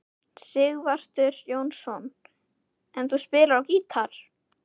Sighvatur Jónsson: En þú spilar á gítar?